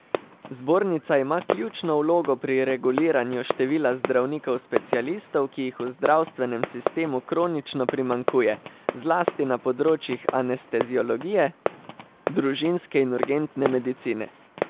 Zbornica ima ključno vlogo pri reguliranju števila zdravnikov specialistov, ki jih v zdravstvenem sistemu kronično primanjkuje, zlasti na področjih anesteziologije, družinske in urgentne medicine.